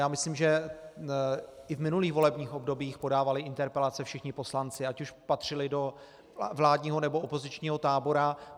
Já myslím, že i v minulých volebních obdobích podávali interpelace všichni poslanci, ať už patřili do vládního, nebo opozičního tábora.